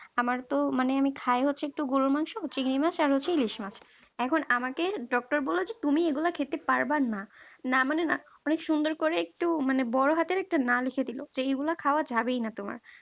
আমার তো মানে আমি খাই হচ্ছে একটু গরুর মাংস চিংড়ি মাছ আর হচ্ছে ইলিশ মাছ এখন আমাকে doctor বলল যে তুমি এগুলা খেতে পারবা না না মানে না অনেক সুন্দর করে একটু মানে বড় হাতের একটা না দেখে দিল যেগুলো খাওয়া যাবেই না তোমার